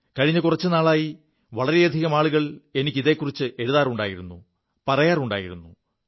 കഴിഞ്ഞ കുറച്ചു നാളായി വളരെയധികം ആളുകൾ എനിക്ക് ഇതെക്കുറിച്ച് എഴുതാറുണ്ടായിരുു പറയാറുണ്ടായിരുു